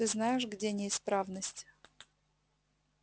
ты знаешь где неисправность